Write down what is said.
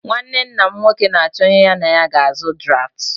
Nnwanne nna m nwoke na-achọ onye ya na ya ga-azụ draftụ